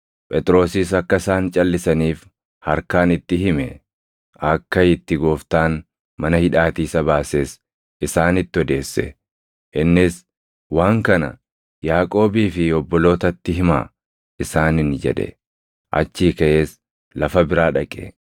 Phexrosis akka isaan calʼisaniif harkaan itti hime; akka itti Gooftaan mana hidhaatii isa baases isaanitti odeesse; innis, “Waan kana Yaaqoobii fi obbolootatti himaa” isaaniin jedhe; achii kaʼees lafa biraa dhaqe.